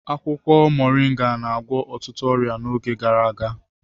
Akwụkwọ Moringa na-agwọ ọtụtụ ọrịa n'oge gara aga.